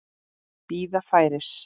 Bíða færis.